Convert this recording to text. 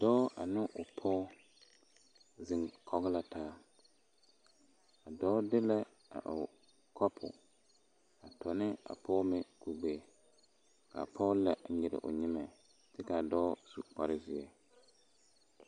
Dɔɔ ane o pɔge zeŋ kɔge la taa a dɔɔ de la o kopo a to ne a pɔge meŋ dene ka a pɔge la nyere o nyemɛ kyɛ ka a dɔɔ su kpare zeɛ.